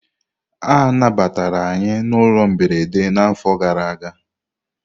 A nabatara anyị na ụlọ mberede n'afọ gara aga.